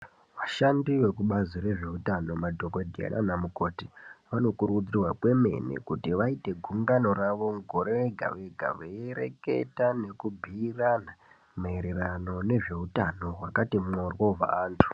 Vashandi vekubazi rezveutano madhokodheya nana mukoti vanokurudzirwa kwemene kuti vaite gungano ravo mugore rega rega veireketa nekubhiirana maererano nezveutano wakati mworo wevantu.